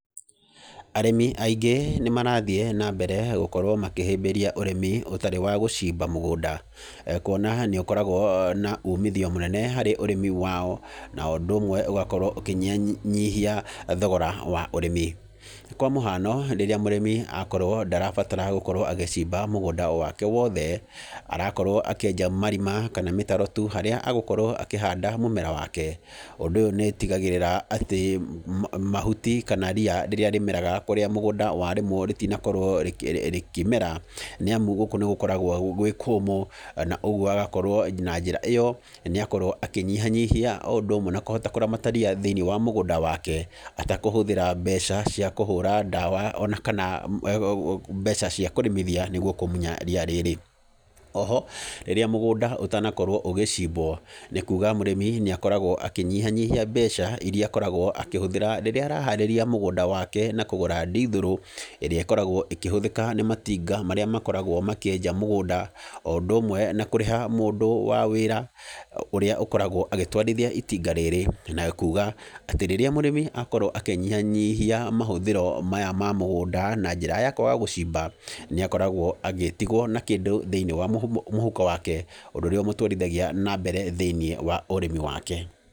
Arĩmi aingĩ nĩ marathiĩ na mbere gũkorwo makĩhĩmbĩria ũrĩmi ũtarĩ wa gũcimba mũgũnda, kuona nĩ ũkoragwo na umithio mũnene harĩ ũrĩmi wao na ũndũ ũmwe ũgakorwo ũkĩnyihanyihia thogora wa ũrĩmi, kwa mũhano rĩrĩa mũrĩmi akorwo ndarabatara gũkorwo agĩcimba mũgũnda wake wothe, arakorwo akĩenja marima, kana mĩtaro tu, harĩa egũkorwo akĩhanda mũmera wake, ũndũ ũyũ nĩ ũtigagĩrĩra atĩ mahuti, kana ria, rĩrĩa rĩmeraga kũrĩa mũgũnda warĩmwo rĩtinakorwo rĩkĩmera, nĩamu gũkũ nĩ gũkoragwo gwĩ kũmũ, na ũguo agakorwo na njĩra ĩyo nĩakorwo akĩnyihanyihia, o ũndũ ũmwe na kũhota kũramata ria thĩinĩ wa mũgũnda wake atekũhũthĩra mbeca cia kũhũra ndawa, ona kana mbeca cia kũrĩmithia nĩguo kũmunya ria rĩrĩ, oho, rĩrĩa mũgũnda ũtanakorwo ũgĩcimbwo, nĩ kuga mũrĩmi nĩ akoragwo akĩnyihanyihia mbeca iria akoragwo akĩhũthĩra rĩrĩa araharĩria mũgũnda wake, na kũgũra ndithũrũ, ĩrĩa ĩkoragwo ĩkĩhũthĩka nĩ matinga marĩa makoragwo makĩenja mũgũnda o ũndũ ũmwe na kũrĩha mũndũ wa wĩra, ũria ũkoragwo agĩtwarithia itinga rĩrĩ, na kuga atĩ rĩrĩa mũrimi akorwo akĩnyihanyihia mahũthĩro maya ma mũgũnda, na njĩra ya kwaga gũcimba, nĩ akoragwo agĩtigwo na kĩndũ thĩinĩ wa mũhuko wake, ũndũ ũrĩa ũmũtwarithagia na mbere thĩinĩ wa ũrĩmi wake.